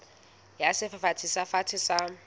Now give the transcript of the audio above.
ya sefafatsi se fatshe sa